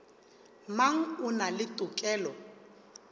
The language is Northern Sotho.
mang o na le tokelo